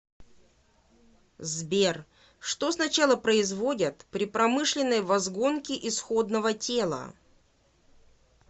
сбер что сначала производят при промышленной возгонке исходного тела